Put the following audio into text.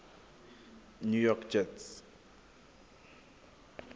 new york jets